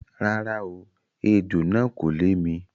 Rárá o, ejò náà kò lè mi.